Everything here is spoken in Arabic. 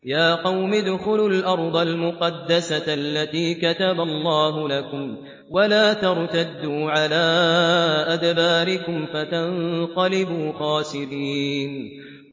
يَا قَوْمِ ادْخُلُوا الْأَرْضَ الْمُقَدَّسَةَ الَّتِي كَتَبَ اللَّهُ لَكُمْ وَلَا تَرْتَدُّوا عَلَىٰ أَدْبَارِكُمْ فَتَنقَلِبُوا خَاسِرِينَ